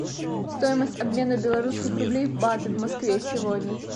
стоимость обмена белорусских рублей в баты в москве сегодня